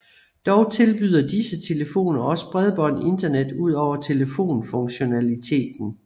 Dog tilbyder disse telefoner også bredbånd internet udover telefonfunktionaliteten